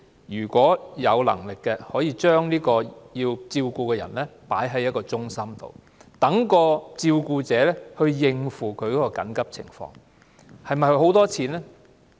如有能力的話，可以將被照顧者送到中心，讓照顧者先行處理其緊急情況。